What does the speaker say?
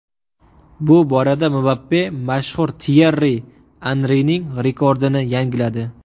Bu borada Mbappe mashhur Tyerri Anrining rekordini yangiladi.